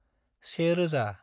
1000